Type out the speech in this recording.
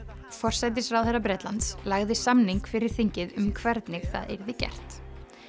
forsætisráðherra Bretlands lagði samning fyrir þingið um hvernig það yrði gert